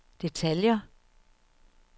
detaljer